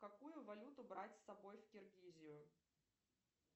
какую валюту брать с собой в киргизию